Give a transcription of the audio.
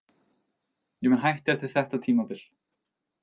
Ég mun hætta eftir þetta tímabil.